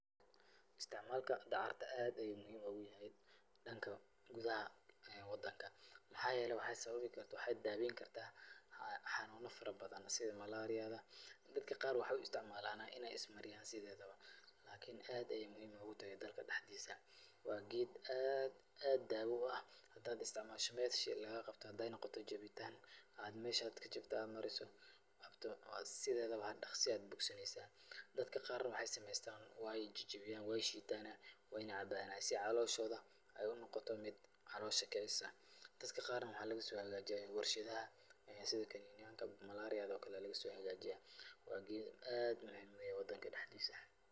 Isticmaalka dacarta aad ayuu muhiim ugu yahay dhanka gudaha wadanka. Maxaa yeelay, waxay sababi kartaa, waxayna daaweyn kartaa xanuuno farabadan sida malaariyada .Dadka qaar waxay u isticmaalayaan in ay ismariyaan sideedaba. Lakini aad ayey muhiim noogu tahay dalka dhexdiisa. Waa geed aad aad daawo u ah. Hadaad isticmaasho meesha lagaa qabto haday noqoto jabitaan, aad meesha aad ka jabtay aad mariso, sideedaba dhakhsi ayaay bogsanaysa. Dadka qaar waxay sameystaan ,waay jijibiyaan, waay shiitan, waayna cabaana si ay calooshooda ay u noqoto mid caloosha kicisa. Dadka qaarna waxay looga soo hegaajiya warshidaha sida kaniiniyanka malaariyada ookale laga soo hegaajia. Waa geed aad u muhiim u eh wadanka dhexdiisa.